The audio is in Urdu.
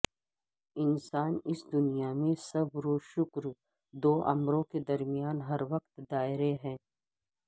انسان اس دنیا میں صبر وشکر دوامروں کے درمیان ہر وقت دائر ہے